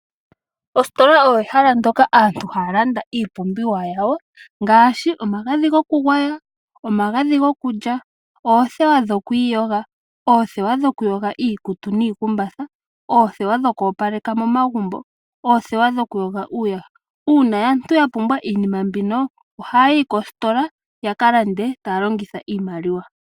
Ositola ehala ndyoka aantu haya landa iipumbiwa yawo ngaashi omagadhi gokugwaya, omagadhi gokulya, othewa dhokwiiyoga, oothewa dhokuyoga iikutu niikumbatha, othewa dhokopaleka momagumbo, oothewa dhokuyoga iiyaha. Una aantu ya pumbwa iinima mbino ohaya yi kositola ya kalande talongitha iimaliwa.